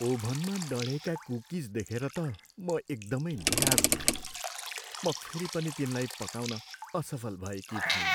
ओभनमा डढेका कुकिज देखेर त म एकदमै धेरै निराश भएँ। म फेरि पनि तिनलाई पकाउन असफल भएकी थिएँ।